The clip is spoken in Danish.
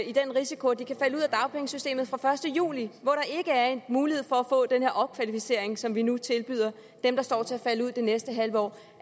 i den risiko at de kan falde ud af dagpengesystemet fra den første juli hvor der er en mulighed for at få den her opkvalificering som vi nu tilbyder dem der står til at falde ud det næste halve år